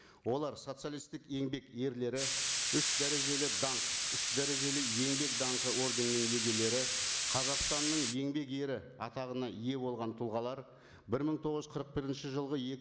олар социалисттік еңбек ерлері үш дәрежелі даңқ үш дәрежелі еңбек даңқы орденінің иегерлері қазақстанның еңбек ері атағына ие болған тұлғалар бір мың тоғыз жүз қырық бірінші жылғы